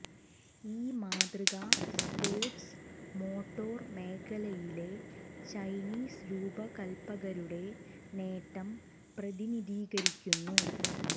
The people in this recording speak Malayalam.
ഈ മാതൃക സ്പോർട്സ് മോട്ടോർ മേഖലയിലെ ചൈനീസ് രൂപകൽപ്പകരുടെ നേട്ടം പ്രതിനിധീകരിക്കുന്നു